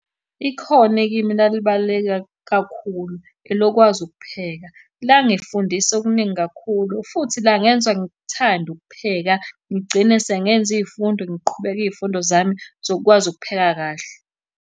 Ikhono ekimi elalibaluleke kakhulu elokwazi ukupheka. Langifundisa okuningi kakhulu, futhi langenza ngikuthande ukupheka ngigcine sengenza iy'fundo ngiqhubeke iy'fundo zami zokukwazi ukupheka kahle.